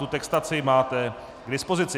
Tu textaci máte k dispozici.